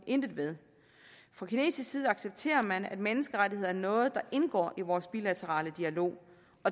intet ved fra kinesisk side accepterer man at menneskerettigheder er noget der indgår i vores bilaterale dialog